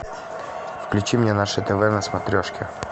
включи мне наше тв на смотрешке